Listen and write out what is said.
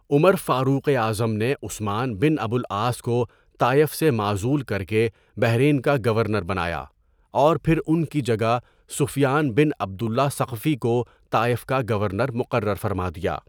عمر فاروقِ اعظم نے عثمان بن ابو العاص کو طائف سےمعزول کرکےبحرین کاگورنر بنایا اور پھر ان کی جگہ سفیان بن عبد اللہ ثقفی کو طائف کا گورنر مقرر فرمادیا.